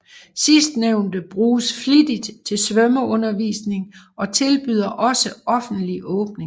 Sidstnævnte bruges flittigt til svømmeundervisning og tilbyder også offentlig åbning